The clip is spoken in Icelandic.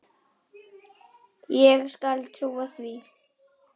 Ég skal trúa því.